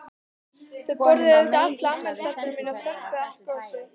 Þau borðuðu auðvitað alla afmælistertuna mína og þömbuðu allt gosið.